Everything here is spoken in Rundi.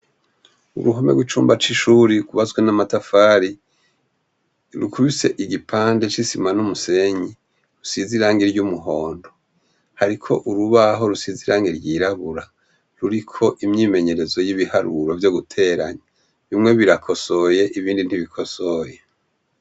Uruhome rw'icumba cishuri rwubatswe n'amatafari rukubise igipande c'isima n'umusenyi usize irangi ry'umuhondo hariko urubaho rusize irangi ry'irabura ruriko imyimenyerezo y'ibiharuro vyo guteranya bimwe birakosoye ibindi ntibikosoye.